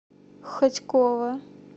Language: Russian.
хотьково